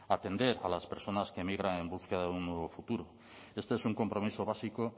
atender a las personas que migran en búsqueda de un nuevo futuro esto es un compromiso básico